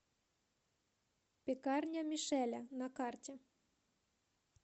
пекарня мишеля на карте